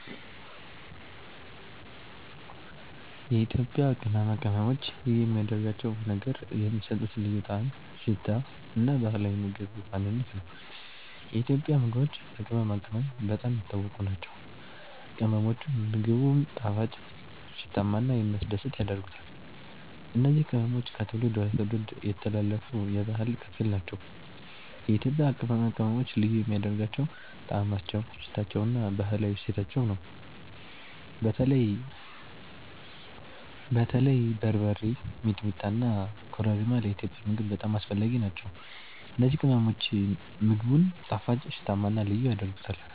የኢትዮጵያ ቅመማ ቅመሞች ልዩ የሚያደርጋቸው ነገር የሚሰጡት ልዩ ጣዕም፣ ሽታ እና ባህላዊ የምግብ ማንነት ነው። የኢትዮጵያ ምግቦች በቅመማ ቅመም በጣም የታወቁ ናቸው፤ ቅመሞቹም ምግቡን ጣፋጭ፣ ሽታማ እና የሚያስደስት ያደርጉታል። እነዚህ ቅመሞች ከትውልድ ወደ ትውልድ የተላለፉ የባህል ክፍል ናቸው። የኢትዮጵያ ቅመማ ቅመሞች ልዩ የሚያደርጋቸው ጣዕማቸው፣ ሽታቸው እና ባህላዊ እሴታቸው ነው። በተለይ በርበሬ፣ ሚጥሚጣ እና ኮረሪማ ለኢትዮጵያዊ ምግብ በጣም አስፈላጊ ናቸው። እነዚህ ቅመሞች ምግቡን ጣፋጭ፣ ሽታማ እና ልዩ ያደርጉታል።